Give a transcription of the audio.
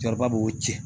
Cɛkɔrɔba b'o ci